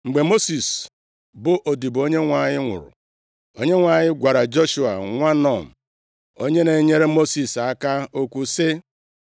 Mgbe Mosis, bụ odibo Onyenwe anyị nwụrụ, Onyenwe anyị gwara Joshua nwa Nun, onye na-enyere Mosis aka okwu sị,